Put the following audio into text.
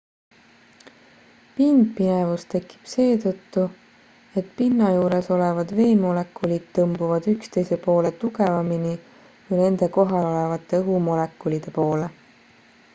pindpinevus tekib seetõttu et pinna juures olevad veemolekulid tõmbuvad üksteise poole tugevamini kui nende kohal olevate õhumolekulide poole